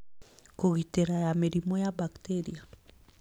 Kũgitĩra ya mĩrimũ ya bakteria